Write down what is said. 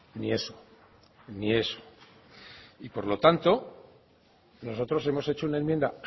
ni eso ni eso y por lo tanto nosotros hemos hecho una enmienda